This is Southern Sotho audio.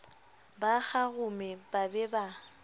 ba kgarume ba be ba